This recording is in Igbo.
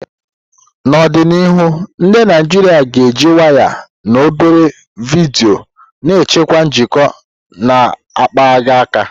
N'ọdịnihu, ndị Naijiria ga-eji waya na obere vidiyo na-echekwa njikọ na-akpaghị aka.